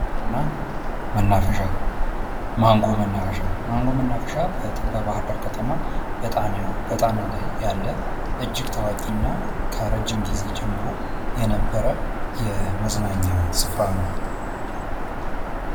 መናፈሻ ማንጎ መናፈሻ በባህርዳር በጣና ላይ ያለ እጅግ ታዋቂ እና ከረጅም ጊዜ በፊት ጀምሮ የነበረ የመዝናኛ ስፍራ ነው::